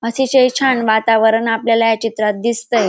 अतिशय छान वातावरण आपल्याला या चित्रात दिसतय.